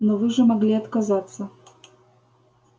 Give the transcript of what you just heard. но вы же могли отказаться